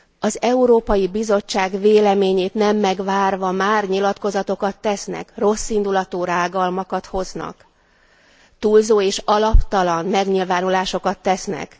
Az Európai Bizottság véleményét nem megvárva már nyilatkozatokat tesznek, rosszindulatú rágalmakat hoznak, túlzó és alaptalan megnyilvánulásokat tesznek.